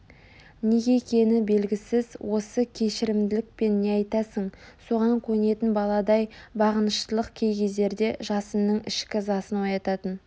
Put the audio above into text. неге екені белгісіз осы кешірімділік пен не айтсаң соған көнетін баладай бағыныштылық кей кездерде жасынның ішкі ызасын оятатын